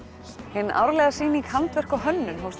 hin árlega sýning handverk og hönnun hófst